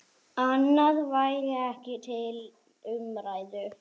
Annað væri ekki til umræðu.